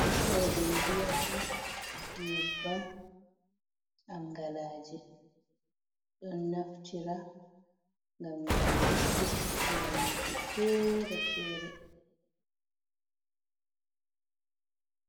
Ɗodum viyata nyebbam, angalaje, ɗon naftira gam nyauduki nyawuji fere fere.